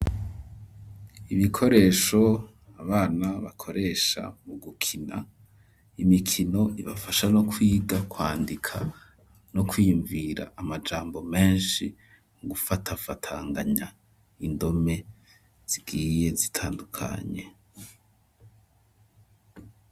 Ibikoresho abana bakoresha mu gukina, imikino ibafasha no kwiga kwandika no kwiyumvira amajambo menshi, mu gufatafatanganya indome zigiye zitandukanye.